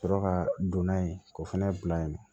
Ka sɔrɔ ka don n'a ye k'o fɛnɛ bila yen